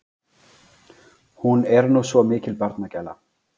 Hún er nú svo mikil barnagæla.